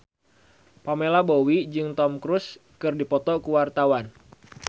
Pamela Bowie jeung Tom Cruise keur dipoto ku wartawan